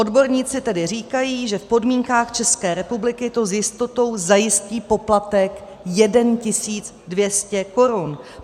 Odborníci tedy říkají, že v podmínkách České republiky to s jistotou zajistí poplatek 1 200 korun.